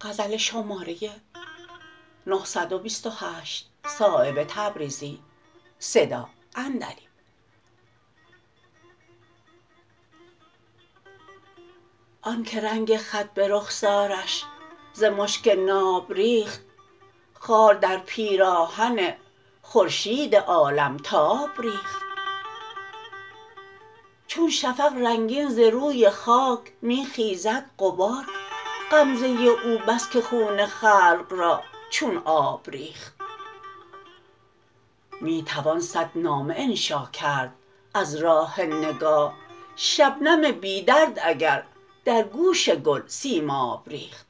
آن که رنگ خط به رخسارش ز مشک ناب ریخت خار در پیراهن خورشید عالمتاب ریخت چون شفق رنگین ز روی خاک می خیزد غبار غمزه او بس که خون خلق را چون آب ریخت می توان صد نامه انشا کرد از راه نگاه شبنم بی درد اگر در گوش گل سیماب ریخت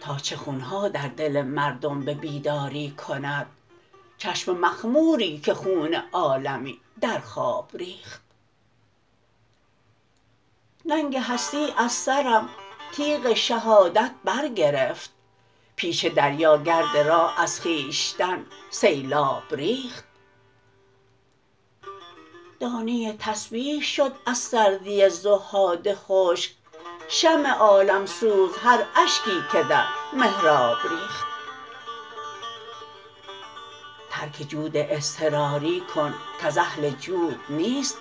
تا چه خونها در دل مردم به بیداری کند چشم مخموری که خون عالمی در خواب ریخت ننگ هستی از سرم تیغ شهادت برگرفت پیش دریا گرد راه از خویشتن سیلاب ریخت دانه تسبیح شد از سردی زهاد خشک شمع عالمسوز هر اشکی که در محراب ریخت ترک جود اضطراری کن کز اهل جود نیست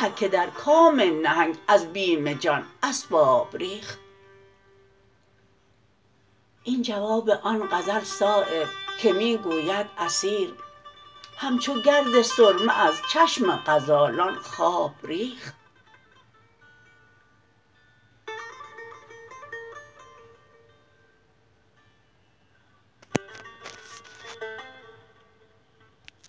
هر که در کام نهنگ از بیم جان اسباب ریخت این جواب آن غزل صایب که می گوید اسیر همچو گرد سرمه از چشم غزالان خواب ریخت